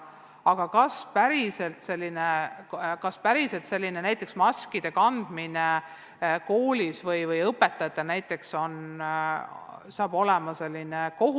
Aga kas näiteks koolis maskide kandmine hakkab olema kohustuslik?